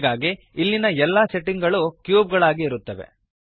ಹೀಗಾಗಿ ಇಲ್ಲಿಯ ಎಲ್ಲ ಸೆಟ್ಟಿಂಗ್ ಗಳು ಕ್ಯೂಬ್ ಗಾಗಿ ಇರುತ್ತವೆ